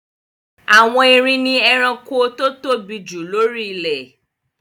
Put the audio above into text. Àwọn erin ni ẹranko tó tóbi jù lóri ilẹ̀